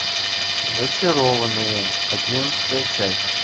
зачарованные одиннадцатая часть